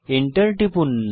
enter টিপুন